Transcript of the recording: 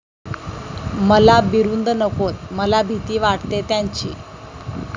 मला बिरुदं नकोत, मला भीती वाटते त्यांची.